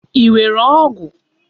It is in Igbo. Ị nwere ọgụ?